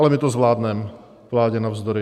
Ale my to zvládneme, vládě navzdory.